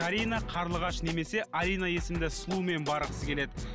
карина қарлығаш немес алина есімді сұлумен барғысы келеді